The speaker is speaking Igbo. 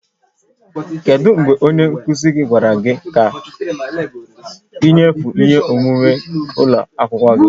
Kedu mgbe onye nkuzi gwara gị ka ị nyefee ihe omume ụlọ akwụkwọ gị?